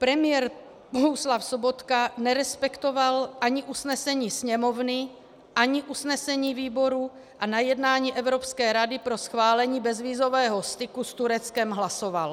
Premiér Bohuslav Sobotka nerespektoval ani usnesení Sněmovny ani usnesení výboru a na jednání Evropské rady pro schválení bezvízového styku s Tureckem hlasoval.